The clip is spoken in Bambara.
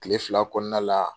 Kile fila kɔnɔna la